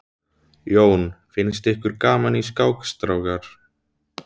Jón: Finnst ykkur gaman í skák strákar?